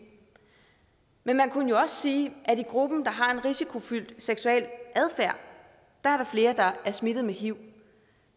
men man kunne jo også sige at i gruppen der har en risikofyldt seksuel adfærd er der er smittet med hiv